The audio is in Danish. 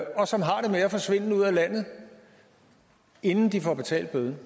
og som har det med at forsvinde ud af landet inden de får betalt bøden